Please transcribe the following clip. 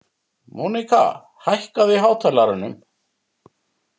Móníka, hækkaðu í hátalaranum.